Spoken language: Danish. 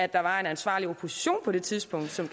at der var en ansvarlig opposition på det tidspunkt som